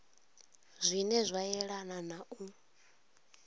zwine zwa yelana na u